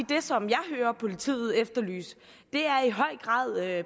det som jeg hører politiet efterlyse i høj grad er